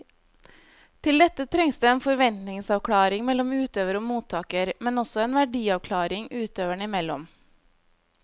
Til dette trengs det en forventningsavklaring mellom utøver og mottaker, men også en verdiavklaring utøverne imellom.